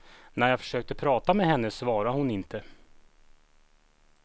När jag försökte prata med henne svarade hon inte.